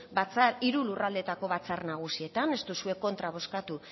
hiru lurraldeetako batzar nagusietan ez duzue kontra bozkatu